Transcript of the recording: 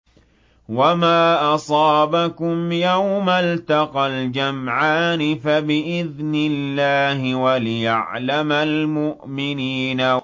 وَمَا أَصَابَكُمْ يَوْمَ الْتَقَى الْجَمْعَانِ فَبِإِذْنِ اللَّهِ وَلِيَعْلَمَ الْمُؤْمِنِينَ